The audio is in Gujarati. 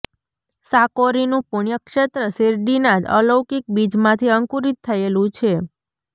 સાકોરીનું પુણ્યક્ષેત્ર શિરડીના જ અલૌકિક બીજમાંથી અંકુરિત થયેલું છે